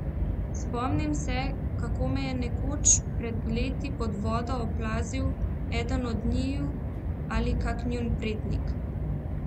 Spomnim se, kako me je nekoč pred leti pod vodo oplazil eden od njiju ali kak njun prednik.